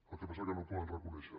el que passa que no ho poden reconèixer